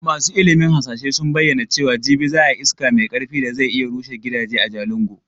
Masu ilimin hasashe sun bayyana cewa jibi za a yi iska mai karfi da zai iya rushe gidaje a Jalingo.